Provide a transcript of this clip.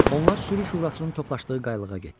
Onlar sürü şurasının toplaşdığı qayalığa getdilər.